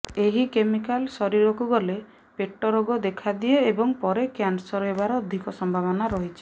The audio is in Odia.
ଏହି କେମିକାଲ ଶରୀରକୁ ଗଲେ ପେଟ ରୋଗ ଦେଖାଦିଏ ଏବଂ ପରେ କ୍ୟାନସର ହେବାର ଅଧିକ ସମ୍ଭାବନା ରହିଛି